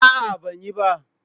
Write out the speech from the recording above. A'a, ban yi ba.